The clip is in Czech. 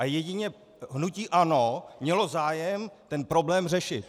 A jedině hnutí ANO mělo zájem ten problém řešit.